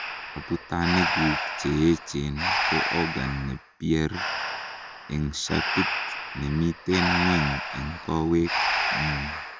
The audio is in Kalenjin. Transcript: abutanikguk Cheechen ko organ ne pear en shapit nemiten ngweny en kowet ngung